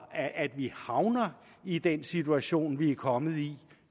at vi havner i den situation vi er kommet i